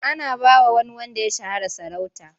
Ana ba wa wani wanda ya shahara sarauta.